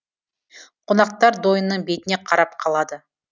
қонақтар дойынның бетіне қарап қалады